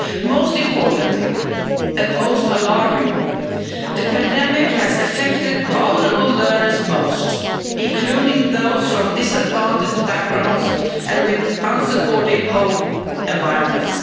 Most importantly and most alarmingly the pandemic has affected vulnerable learners most, including those from disadvantaged backgrounds and unsupportive home environments.